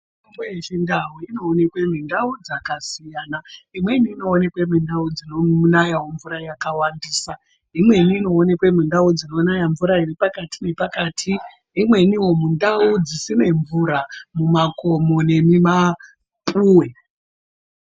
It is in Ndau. Mitombo yeChindau inoonekwe mundau dzakasiyana imweni inoonekwe mundau dzinonaya mvura yakawandisa, imweni inoonekwe mundau dzinonaya mvura iri pakati nepakati, imweniwo mundau dzisine mvura mumakomo nemumapuwe.